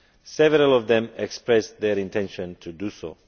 Several of them have expressed their intention to do so.